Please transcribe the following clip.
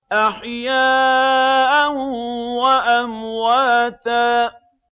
أَحْيَاءً وَأَمْوَاتًا